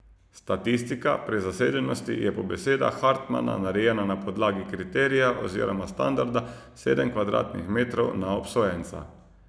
Statistika prezasedenosti je po besedah Hartmana narejena na podlagi kriterija oziroma standarda sedem kvadratnih metrov na obsojenca.